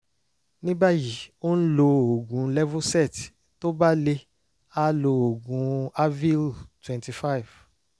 ní báyìí ó ń lo oògùn levocet tó bá le á lo oògùn avil twenty five